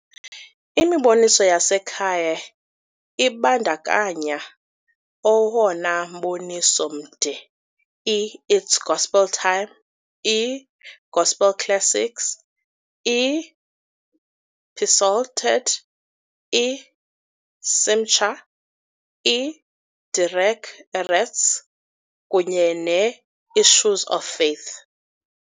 Imiboniso yasekhaya ibandakanya owona mboniso mde I-It's Gospel Time, i-Gospel Classics, i-Psalted, i-Simcha, i-Derech Erets, kunye ne-Issues of Faith.